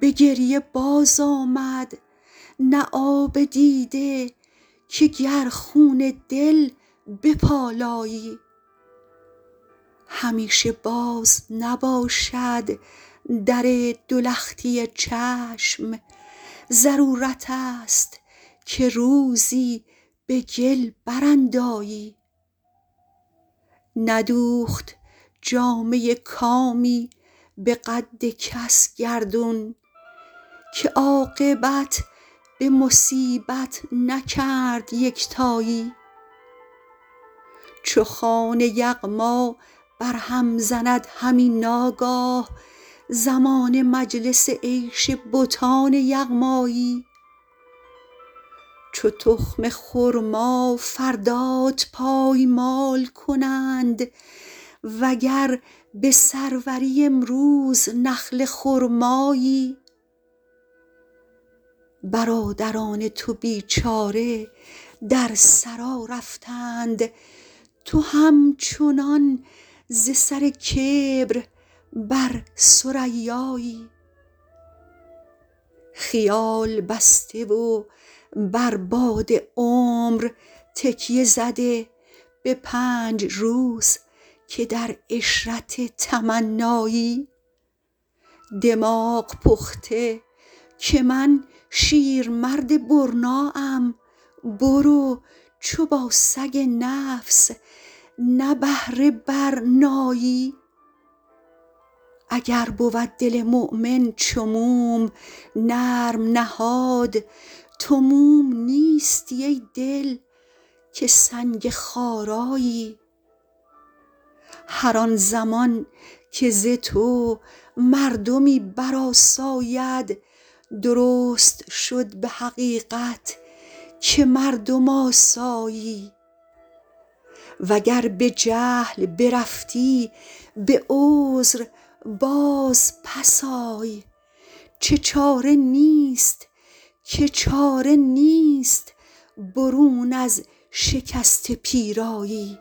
به گریه بازآمد نه آب دیده که گر خون دل بپالایی همیشه باز نباشد در دو لختی چشم ضرورتست که روزی به گل براندایی ندوخت جامه کامی به قد کس گردون که عاقبت به مصیبت نکرد یکتایی چو خوان یغما بر هم زند همی ناگاه زمانه مجلس عیش بتان یغمایی چو تخم خرما فردات پایمال کنند وگر به سروری امروز نخل خرمایی برادران تو بیچاره در ثری رفتند تو همچنان ز سر کبر بر ثریایی خیال بسته و بر باد عمر تکیه زده به پنج روز که در عشرت تمنایی دماغ پخته که من شیرمرد برنا ام برو چو با سگ نفس نبهره برنایی اگر بود دل مؤمن چو موم نرم نهاد تو موم نیستی ای دل که سنگ خارایی هر آن زمان که ز تو مردمی برآساید درست شد به حقیقت که مردم آسایی وگر به جهل برفتی به عذر بازپس آی که چاره نیست برون از شکسته پیرایی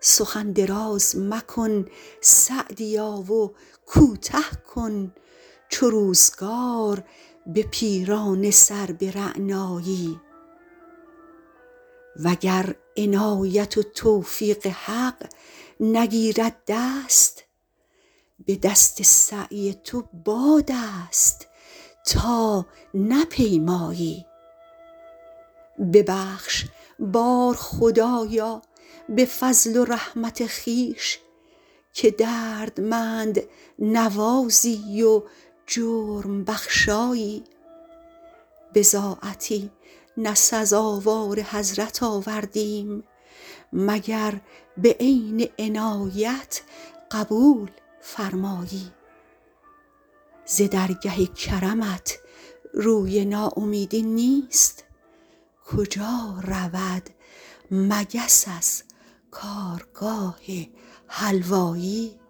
سخن دراز مکن سعدیا و کوته کن چو روزگار به پیرانه سر به رعنایی وگر عنایت و توفیق حق نگیرد دست به دست سعی تو بادست تا نپیمایی ببخش بار خدایا به فضل و رحمت خویش که دردمند نوازی و جرم بخشایی بضاعتی نه سزاوار حضرت آوردیم مگر به عین عنایت قبول فرمایی ز درگه کرمت روی ناامیدی نیست کجا رود مگس از کارگاه حلوایی